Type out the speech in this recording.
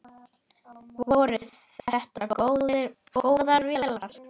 Voru þetta góðar vélar?